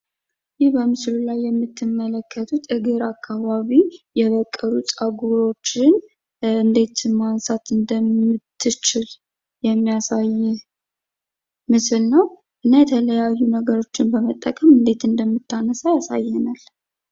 ይህ በምስሉ ላይ የምትመለከቱት እግር አካባቢ የበቀሉ ፀጉሮችን እንዴት ማንሳት እንደምትችል የሚያሳይ ምስል ነው ።እና የተለያዩ ነገሮችን በመጠቀም እንዴት እንደምታነሳ ያሳየናል ።